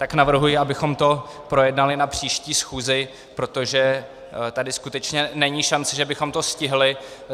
Tak navrhuji, abychom to projednali na příští schůzi, protože tady skutečně není šance, že bychom to stihli.